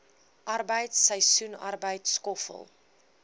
arbeid seisoensarbeid skoffel